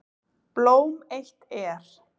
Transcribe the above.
Blóm eitt er.